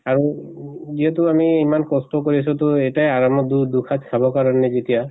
আৰু যিহেতু আমি ইমান কষ্ট কৰিছো তো এটাই আৰামত দু দুখাজ খাব কাৰণে যেতিয়া